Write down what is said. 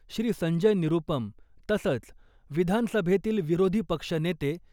श्री संजय निरूपम तसंच, विधानसभेतील विरोधी पक्ष नेते